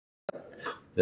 Svona, þetta lagast